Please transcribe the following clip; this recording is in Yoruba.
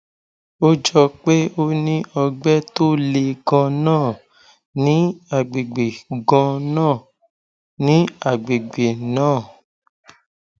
ó jọ pé o ní ọgbẹ tó le ganan ní àgbègbè ganan ní àgbègbè náà